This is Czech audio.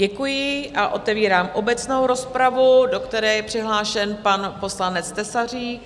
Děkuji a otevírám obecnou rozpravu, do které je přihlášen pan poslanec Tesařík.